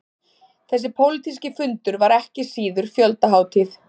Þessi pólitíski fundur var ekki síður fjöldahátíð